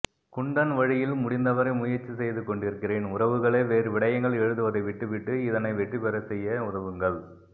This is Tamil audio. குண்டன் வழியில் முடிந்தவரை முயற்ச்சி செய்துகொண்டிருக்கிறேன் உறவுகளே வேறுவிடயங்கள் எழுதுவதைவிட்டுவிட்டு இதனை வெற்றிபெறச்செய்ய உதவுங்கள்